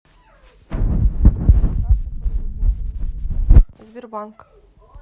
сбербанк